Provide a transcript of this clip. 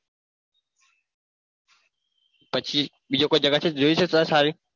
પછી કોઈ બીજી કોઈ જગ્યા છે સારી છે?